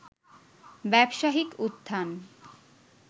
ব্যবসায়িক উত্থান